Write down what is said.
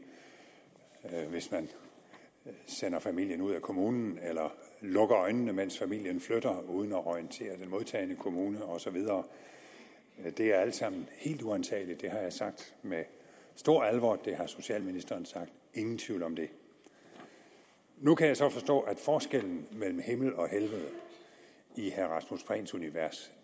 hvis man sender familien ud af kommunen eller lukker øjnene mens familien flytter uden at orientere den modtagende kommune og så videre det er alt sammen helt uantageligt det har jeg sagt med stor alvor og det har socialministeren sagt ingen tvivl om det nu kan jeg så forstå at forskellen mellem himmel og helvede i herre rasmus prehns univers